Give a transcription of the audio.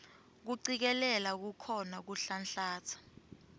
kucikelela kukhona kuhlanhlatsa